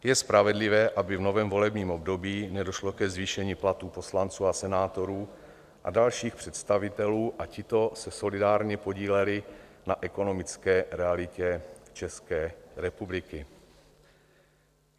Je spravedlivé, aby v novém volebním období nedošlo ke zvýšení platů poslanců a senátorů a dalších představitelů a tito se solidárně podíleli na ekonomické realitě České republiky.